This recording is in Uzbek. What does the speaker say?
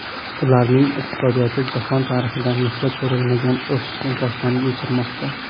Ularning iqtisodiyoti jahon tarixida misli ko‘rilmagan o‘sishni boshdan kechirmoqda”.